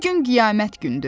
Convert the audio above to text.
Bugün qiyamət günüdür.